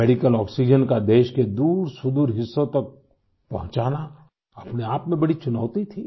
medical oxygen का देश के दूरसुदूर हिस्सों तक पहुँचाना अपने आप में बड़ी चुनौती थी